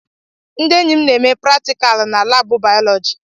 Ndị enyi na-eme pratikalụ na laabụ bayọlọji.